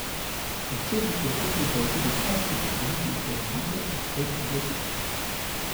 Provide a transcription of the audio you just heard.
Predsednik republike je tudi častni pokrovitelj prireditev ob tej obletnici.